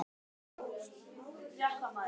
Hann stóð í sömu sporunum góða stund.